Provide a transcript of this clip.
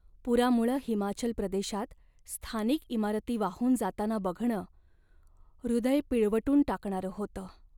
पुरामुळं हिमाचल प्रदेशात स्थानिक इमारती वाहून जाताना बघणं हृदय पिळवटून टाकणारं होतं.